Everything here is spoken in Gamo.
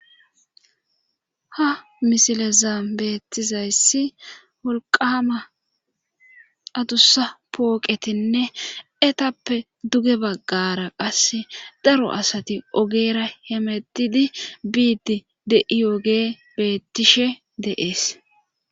Ha misileza beettizays woliqama adusa poqetine etape duge bagara qasi daro asati ogera hemetide bidi de'ogey betishe de'es